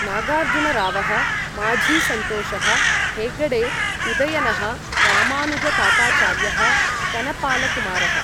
नागार्जुनरावः माझिसन्तोषः हेगडे उदयनः रामानुजताताचार्यः कनपालकुमारः ।